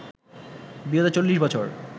বিগত চল্লিশ বছর